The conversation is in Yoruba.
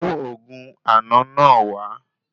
Mú òògùn àna náà wá